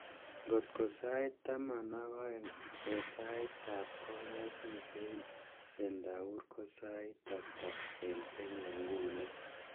Ngot ko sait taman ak aeng eng saitab kongasi eng Centaur, ko sait ata eng Kenya nguno